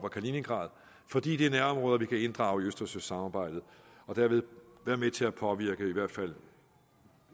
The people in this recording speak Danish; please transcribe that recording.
og kaliningrad fordi det er nærområder vi kan inddrage i østersøsamarbejdet og dermed være med til at påvirke i hvert fald